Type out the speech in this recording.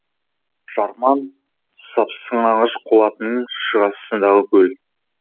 жарман сыпсыңағаш қолатының шығысындағы көл